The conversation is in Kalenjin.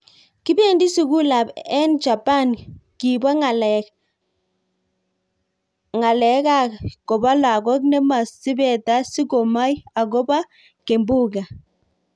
Kibendi sugulab en Japan kibo ng�alekak kobo lagok nemo sipeta si komoi ak agobo kimbunga.